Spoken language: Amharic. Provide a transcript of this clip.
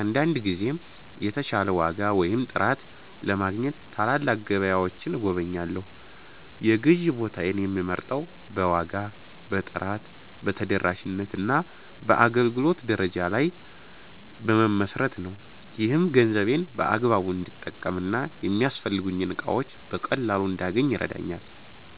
አንዳንድ ጊዜም የተሻለ ዋጋ ወይም ጥራት ለማግኘት ትላልቅ ገበያዎችን እጎበኛለሁ። የግዢ ቦታዬን የምመርጠው በዋጋ፣ በጥራት፣ በተደራሽነት እና በአገልግሎት ደረጃ ላይ በመመስረት ነው። ይህም ገንዘቤን በአግባቡ እንድጠቀም እና የሚያስፈልጉኝን እቃዎች በቀላሉ እንዳገኝ ይረዳኛል።